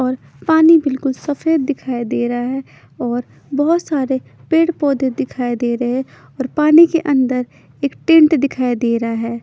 और पानी बिलकुल सफेद दिखाई देरा है और बोहोत सारे पेड़ पोधे दिखाई देरे है और पानी के अन्दर एक टेंट दिखाई देरा है।